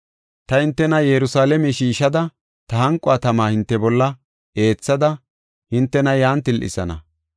Ta hintena Yerusalaame shiishada, ta hanqo tama hinte bolla eethada hintena yan til7isana.